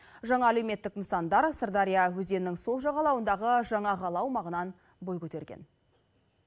жаңа әлеуметтік нысандар сырдария өзенінің сол жағалауындағы жаңа қала аумағынан бой көтерген